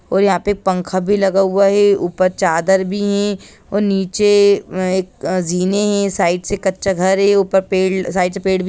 और यहाँ पर पंखा भी लगा हुआ है ऊपर चादर भी हैं और नीचे एक जिंने हैं साइड से कच्चा घर है ऊपर पेड़ साइड से पेड़ भी --